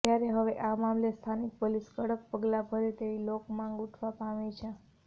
ત્યારે હવે આ મામલે સ્થાનિક પોલીસ કડક પગલા ભરે તેવી લોકમાંગ ઉઠવા પામી છે